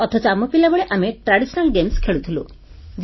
ଅଥଚ ଆମ ପିଲାବେଳେ ଆମେ ବାହାରେ ପଡିଆରେ ପାରମ୍ପରିକ ଖେଳ ଖେଳୁଥିଲୁ